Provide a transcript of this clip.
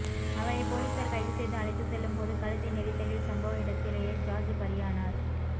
அவரை போலீசார் கைது செய்து அழைத்து செல்லும் போது கழுத்தை நெரித்தலில் சம்பவ இடத்திலேயே ஜார்ஜ் பலியானார்